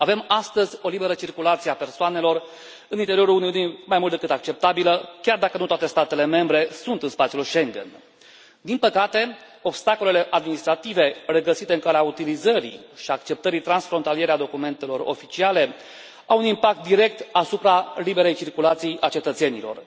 Avem astăzi o liberă circulație a persoanelor în interiorul Uniunii mai mult decât acceptabilă, chiar dacă nu toate statele membre sunt în spațiul Schengen. Din păcate, obstacolele administrative regăsite în calea utilizării și acceptării transfrontaliere a documentelor oficiale au un impact direct asupra liberei circulații a cetățenilor.